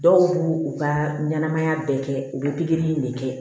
Dɔw b'u u ka ɲɛnamaya bɛɛ kɛ u bɛ pikiri in de kɛ